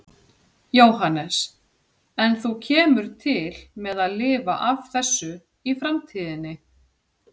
Jóhannes: En þú kemur til með að lifa af þessu í framtíðinni?